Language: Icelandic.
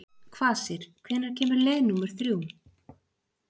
Kvasir, hvenær kemur leið númer þrjú?